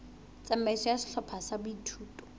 tsamaiso ya sehlopha sa boithuto